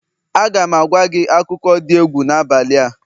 Aga m agwa gị akụkọ dị egwu n'abalị a